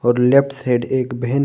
Left side एक बहन है।